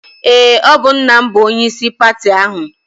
Eé, ọ bụ nna m bụ onyeisi pati ahụ.